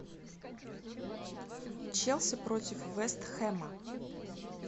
челси против вест хэма